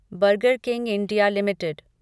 burger King India limited